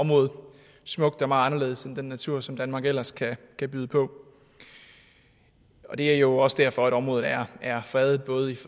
område smukt og meget anderledes end den natur som danmark ellers kan byde på og det er jo også derfor at området er er fredet både i